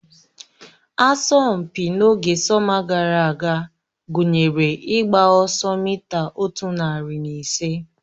Asọmpi n'oge sọma gara aga gụnyere ịgba ọsọ mita otu narị na ise